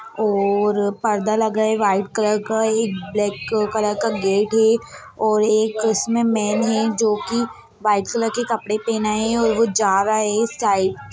और पर्दा लगा है व्हाइट कलर का एक ब्लैक क कलर का गेट है और एक इसमे मेन है जो की व्हाइट कलर के कपड़े पहना है और वो जा रहा है इस टाइप --